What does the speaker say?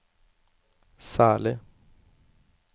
særlig